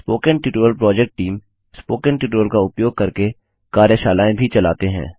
spoken tutorial project team spoken tutorial का उपयोग करके कार्यशालाएँ भी चलाते हैं